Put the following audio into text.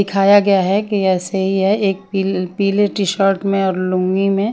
दिखाया गया है कि ऐसे ही है एक पिल पिल्ले टी शर्ट में और लूंगी में--